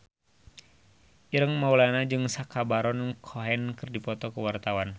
Ireng Maulana jeung Sacha Baron Cohen keur dipoto ku wartawan